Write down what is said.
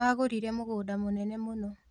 Agũrire mũgũnda mũnene mũno